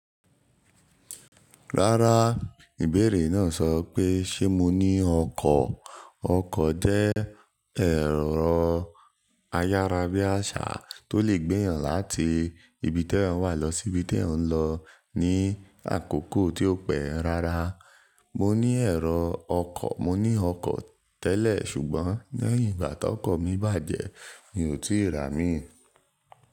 Rárá, ìbéèrè náà sọ pé ṣe mo ní ọkọ̀. Ọkọ̀ jẹ́ ẹ̀rọ ayárábiàsà tó lè gbé èèyàn láti ibi te èèyàn wà lọ sí ibi te èèyàn lọ ní àkókò tí ó pẹ́. Rárá, mo ní ẹ̀rọ ọkọ̀, mo ní ọkọ̀ tẹ́lẹ̀ ṣùgbọ́n lẹ́yìn ìgbà tí ọkọ̀ mi bàjẹ́ mi ò tíì ra míì.